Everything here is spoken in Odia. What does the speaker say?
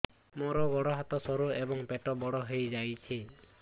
ମୋର ଗୋଡ ହାତ ସରୁ ଏବଂ ପେଟ ବଡ଼ ହୋଇଯାଇଛି